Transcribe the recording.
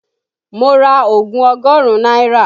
Mo ra ogun ọgọ́rùn-ún naira